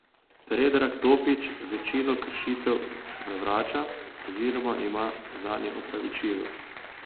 Predrag Topić večino kršitev zavrača oziroma ima zanje opravičilo.